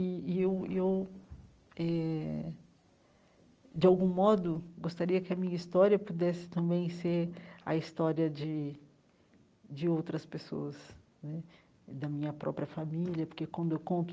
E e eu eu eh, de algum modo, gostaria que a minha história pudesse também ser a história de de outras pessoas né, da minha própria família, porque, quando eu conto